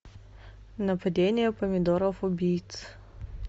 нападение помидоров убийц